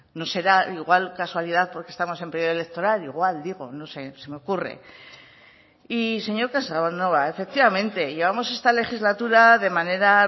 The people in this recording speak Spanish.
no será igual casualidad porque estamos en periodo electoral igual digo se me ocurre y señor casanova efectivamente llevamos esta legislatura de manera